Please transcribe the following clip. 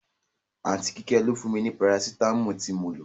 Aunty Kíké ló fún mi ní Parasitamọ́ọ̀ tí mo lo.